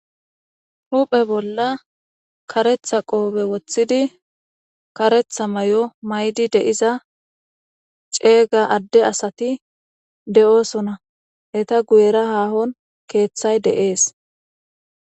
Huphphe bolla karetha qobe wothidi, karetha mayo maydi de'iza ceega adde asati de'osona, eta guyera hahon keeththay de'es.